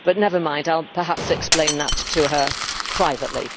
But never mind, I will perhaps explain that to her privately.